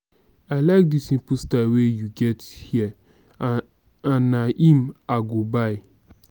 i like dis simple style wey you get here and na im i go buy